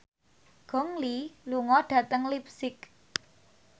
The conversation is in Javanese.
Gong Li lunga dhateng leipzig